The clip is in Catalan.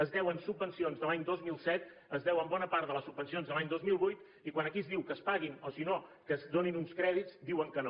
els deuen subvencions de l’any dos mil set es deu bona part de les subvencions de l’any dos mil vuit i quan aquí es diu que es paguin o si no que es donin uns crèdits diuen que no